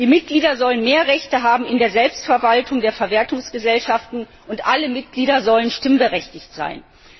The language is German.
Die Mitglieder sollen mehr Rechte haben in der Selbstverwaltung der Verwertungsgesellschaften, und alle Mitglieder sollen stimmberechtigt sein.